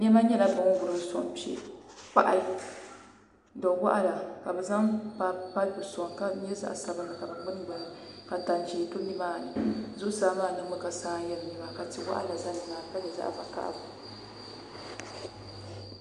Niɛma nyɛla bin wurim soŋ kpɛ kpahi do waɣala ka bi zaŋ paip soŋ ka di nyɛ zaɣ sabinli ka bi gbuni gbuni li ka tani ʒiɛ do nimaani zuɣusaa maa niŋmi ka saa n yɛn luna maa ka tia waɣala bɛ nimaani ka nyɛ zaɣ vakaɣali